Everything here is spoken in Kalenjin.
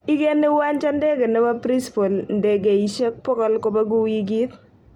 Igeni uwanja ndege nebo Borispol ndegeiashek pogol kobegu wigit